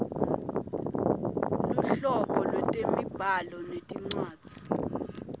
luhlobo lwetemibhalo nencwadzi